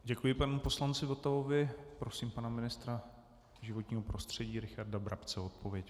Děkuji panu poslanci Votavovi, prosím pana ministra životního prostředí Richarda Brabce o odpověď.